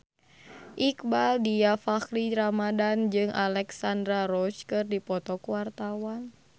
Iqbaal Dhiafakhri Ramadhan jeung Alexandra Roach keur dipoto ku wartawan